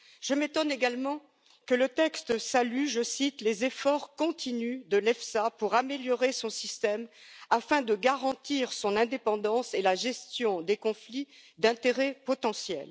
Je m'étonne également que le texte salue, je cite les efforts continus de l'EFSA pour améliorer son système afin de garantir son indépendance et la gestion des conflits d'intérêts potentiels.